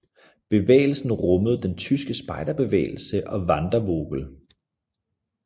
Bevægelsen rummede den tyske spejderbevægelse og Wandervogel